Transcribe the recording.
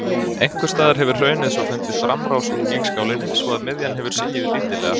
Einhvers staðar hefur hraunið svo fundið framrás úr gígskálinni, svo að miðjan hefur sigið lítillega.